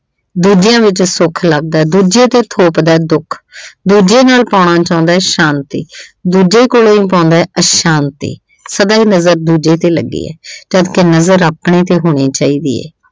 ਦੂਜਿਆਂ ਵਿੱਚ ਸੁੱਖ ਲੱਭਦਾ ਦੂਜੇ ਤੇ ਥੋਪਦਾ ਦੁੱਖ। ਦੂਜੇੇ ਨਾਲ ਪਾਉਣਾ ਚਾਹੁੰਦਾ ਸ਼ਾਂਤੀ। ਦੂਜੇ ਕੋਲੋ ਹੀ ਪਾਉਂਦਾ ਅਸ਼ਾਂਤੀ। ਸਦਾ ਹੀ ਨਜ਼ਰ ਦੂਜੇ ਤੇ ਲੱਗੀ ਹੈ ਜਦਕਿ ਨਜ਼ਰ ਆਪਣੇ ਤੇ ਹੋਣੀ ਚਾਹੀਦੀ ਹੈ।